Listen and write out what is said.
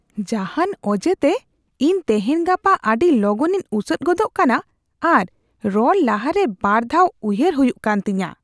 ᱡᱟᱦᱟᱱ ᱚᱡᱮᱛᱮ, ᱤᱧ ᱛᱮᱦᱮᱧ ᱜᱟᱯᱟ ᱟᱹᱰᱤ ᱞᱚᱜᱚᱱᱤᱧ ᱩᱥᱟᱹᱫ ᱜᱚᱫᱚᱜ ᱠᱟᱱᱟ ᱟᱨ ᱨᱚᱲ ᱞᱟᱦᱟᱨᱮ ᱵᱟᱨ ᱫᱷᱟᱣ ᱩᱭᱦᱟᱹᱨ ᱦᱩᱭᱩᱜ ᱠᱟᱱ ᱛᱤᱧᱟᱹ ᱾